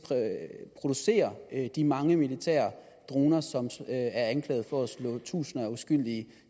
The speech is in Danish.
producerer de mange militære droner som er anklaget for at have slået tusinder af uskyldige